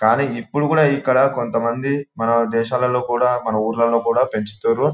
కానీ ఇప్పుడు కూడా ఇక్కడ కొంతమంది మన దేశాలలో కూడా మన ఊర్లలో కూడా పెంచుతురు.